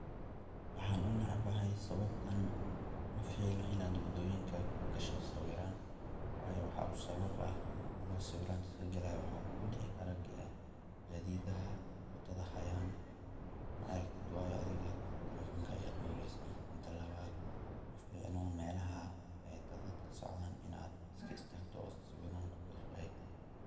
waxaan unecbahay sababtan, maficno inad wadoyinka kugasho sairaan wayo waxaa u sabab ah, ado sawiranta iska gelaya waxaa kugu dhici karaa gadiidaha wadada haayan ma aragtid waayo adiga talefonka ayad dhowreysa. mida labad ma ficna melaha ay dadadka socdan inad iska istagto oo sawiran kugasho